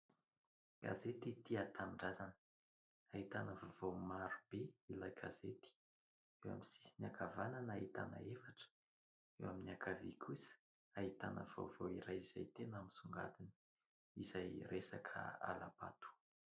Gazety Tia Tanindrazana ahitana vaovao maro be ilay gazety, eo amin'ny sisiny ankavanana ahitana efitra, eo amin'ny ankavia kosa ahitana vaovao iray izay tena misongadina izay resaka hala-bato.